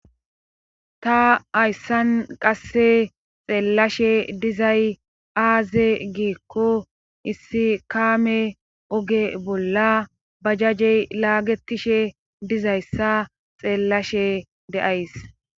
Ta hayssan qasse xeellashe dizay aaze giikko issi kaame oge bolla bajajey laagetishe dizayssa xeellashe deays.